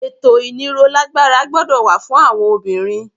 Ètò ìnírolágbára gbọ́dọ̀ wà fún àwọn obìnrin.